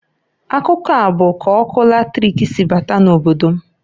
Akụkọ a bụ k'ọkụ latrik si bata na obodo m.